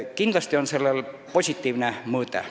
Kindlasti on sellel positiivne mõõde.